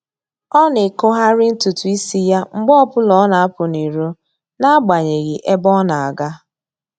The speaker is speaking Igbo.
Ọ na-ekogharị ntụtụ isi ya mgbe ọbụla ọ na-apụ n'iro n'agbanyeghị ebe ọ na-aga